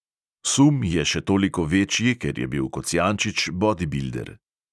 Sum je še toliko večji, ker je bil kocijančič bodibilder.